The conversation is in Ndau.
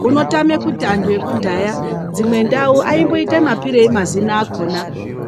Unotama kuti antu ekudhaya dzimwe ndau aimboitirei mapirei mazina akona.